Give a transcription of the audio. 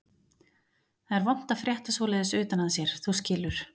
Það er vont að frétta svoleiðis utan að sér, þú skilur.